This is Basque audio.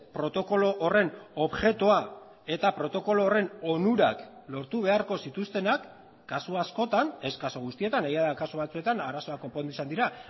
protokolo horren objektua eta protokolo horren onurak lortu beharko zituztenak kasu askotan ez kasu guztietan egia da kasu batzuetan arazoa konpondu izan dira